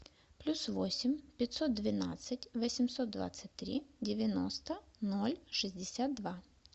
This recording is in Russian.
плюс восемь пятьсот двенадцать восемьсот двадцать три девяносто ноль шестьдесят два